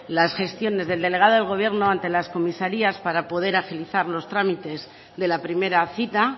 las gestiones del delegado del gobierno ante las comisarías para poder agilizar los trámites de la primera cita